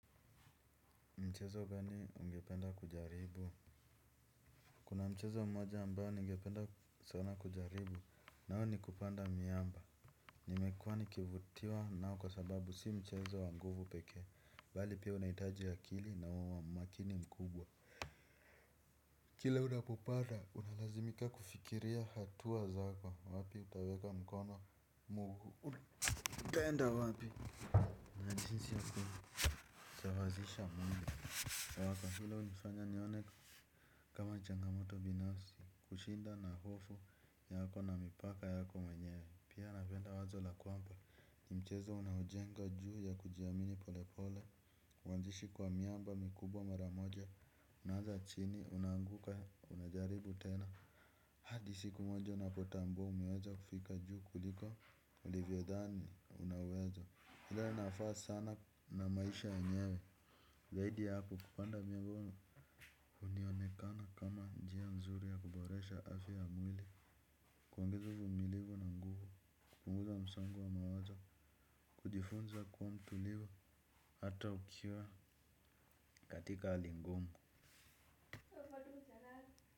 Mchezo gani ungependa kujaribu. Kuna mchezo mmoja ambao ningependa sana kujaribu nao ni kupanda miamba. Nimekuwa nikivutiwa nao kwa sababu si mchezo wa nguvu pekee bali pia unahitaji akili na umakini mkubwa. Kila unapopanda unalazimika kufikiria hatua zako wapi utaweka mkono mguu. Utaenda wapi na jinsi yako kusawazisha mwili na wakati ule ulinifanya nione kama changamoto binafsi, kushinda na hofu yako na mipaka yako mwenyewe. Pia napenda wazo la kwamba, ni mchezo unaojenga juu ya kujiamini pole pole. Mwanzishi kwa miamba mikubwa mara moja, unaanza chini, unaanguka, unajaribu tena hadi siku moja unapotambua umeacha kufika juu kuliko ulivyodhani unaweza ile nafaa sana na maisha yenyewe. Zaidi ya hapo kupanda miamba hunionekana kama njia nzuri ya kuboresha afya ya mwili kuongeza uvumilivu na nguvu kupunguza msongo wa mawazo. Kujifunza kuwa mtulivu hata ukiwa katika hali ngumu.